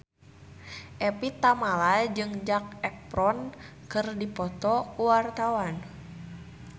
Evie Tamala jeung Zac Efron keur dipoto ku wartawan